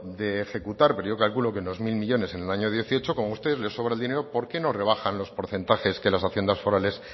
de ejecutar pero yo calculo que unos mil millónes en el año dieciocho como a ustedes les sobra el dinero por qué no rebajan los porcentajes que las haciendas forales